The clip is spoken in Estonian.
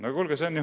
" No kuulge!